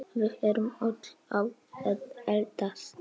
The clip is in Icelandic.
Við erum öll að eldast.